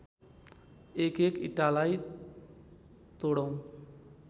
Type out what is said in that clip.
एकएक इँटालाई तोडौँ